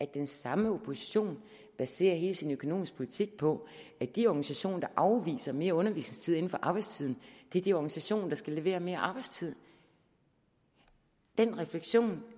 den samme opposition baserer hele sin økonomiske politik på at de organisationer der afviser mere undervisningstid inden for arbejdstiden er de organisationer der skal levere mere arbejdstid den refleksion